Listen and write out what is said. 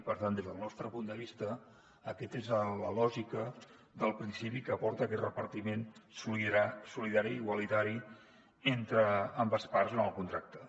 per tant des del nostre punt de vista aquesta és la lògica del principi que porta a aquest repartiment solidari i igualitari entre ambdues parts en el contracte